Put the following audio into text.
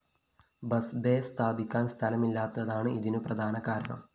bus bay സ്ഥാപിക്കാന്‍ സ്ഥലമില്ലാത്തതാണ് ഇതിനു പ്രധാന കാരണം